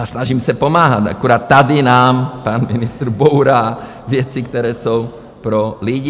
A snažím se pomáhat, akorát tady nám pan ministr bourá věci, které jsou pro lidi.